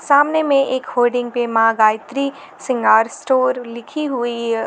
सामने में एक होर्डिंग पे माँ गायत्री श्रृंगार स्टोर लिखी हुई।